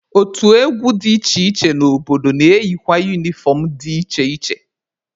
Otu egwu dị iche iche n'obodo na-eyikwa unifọm dị iche iche.